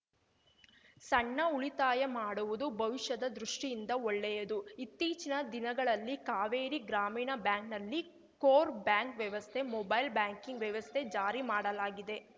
ಸಣ್ಣ ಉಳಿತಾಯ ಮಾಡುವುದು ಭವಿಷ್ಯದ ದೃಷ್ಟಿಯಿಂದ ಒಳ್ಳೆಯದು ಇತ್ತೀಚಿನ ದಿನಗಳಲ್ಲಿ ಕಾವೇರಿ ಗ್ರಾಮೀಣ ಬ್ಯಾಂಕಿನಲ್ಲಿ ಕೋರ್‌ ಬ್ಯಾಂಕ್‌ ವ್ಯವಸ್ಥೆ ಮೊಬೈಲ್‌ ಬ್ಯಾಂಕಿಂಗ್‌ ವ್ಯವಸ್ಥೆ ಜಾರಿ ಮಾಡಲಾಗಿದೆ